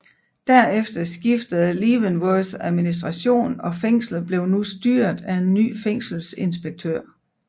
Derefter skiftede Leavenworths administration og fængslet blev nu styret af en ny fængselsinspektør